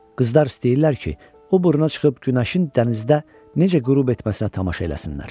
Qızlar istəyirlər ki, o burna çıxıb günəşin dənizdə necə qürub etməsinə tamaşa eləsinlər.